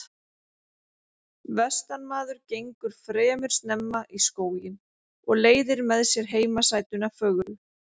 Vestanmaður gengur fremur snemma í skóginn og leiðir með sér heimasætuna fögru.